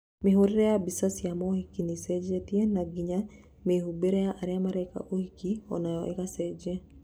Mĩhũrĩre ya mbica cia maũhiki nĩĩcenjetie na nginya mĩhumbĩre ya arĩa mareka maũhiki onayo ĩgacenjia.